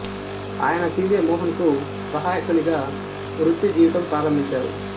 ఆయన C J Mohan కు సహాయకునిగా వృత్తి జీవితం ప్రారంభించారు